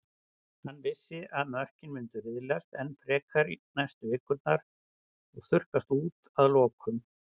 Hann vissi að mörkin myndu riðlast enn frekar næstu vikurnar og þurrkast út að lokum.